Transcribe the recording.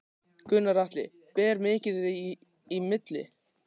Gunnar Atli: Ber mikið í milli?